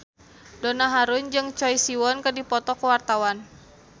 Donna Harun jeung Choi Siwon keur dipoto ku wartawan